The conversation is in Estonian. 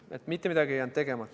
Nii et mitte midagi ei jäänud tegemata.